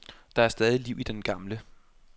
Der er stadig liv i den gamle.